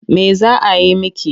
Me za a yi miki?